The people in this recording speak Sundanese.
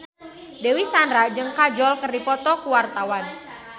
Dewi Sandra jeung Kajol keur dipoto ku wartawan